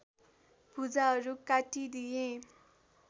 भुजाहरू काटिदिए